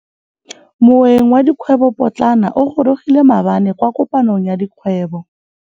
Moêng wa dikgwêbô pôtlana o gorogile maabane kwa kopanong ya dikgwêbô.